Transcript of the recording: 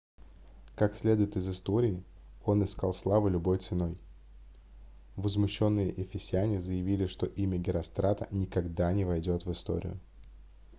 как следует из истории он искал славы любой ценой возмущенные эфесяне заявили что имя герострата никогда не войдет в историю